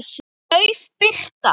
Dauf birta.